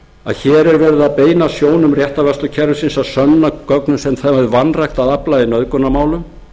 að hér er verið að beina sjónum réttarvörslukerfisins að sönnunargögnum sem það hefur vanrækt að afla í nauðgunarmálum